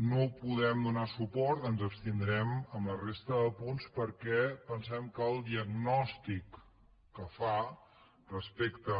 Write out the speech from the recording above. no podem donar suport ens abstindrem en la resta de punts perquè pensem que el diagnòstic que fa respecte